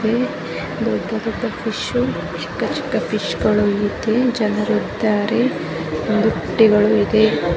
ಇಲ್ಲಿ ದೊಡ್ಡ ದೊಡ್ಡ ಚಿಕ್ಕ ಚಿಕ್ಕ ಫಿಶ್ ಇದೆ ಜನರು ಇದ್ದಾರೆ ಬುಟ್ಟಿಗಳು ಇದೆ .